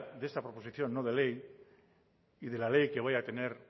de esta proposición no de ley y de la ley que voy a tener